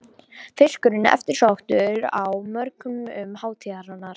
Fiskurinn eftirsóttur á mörkuðum um hátíðarnar